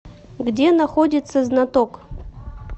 где находится знаток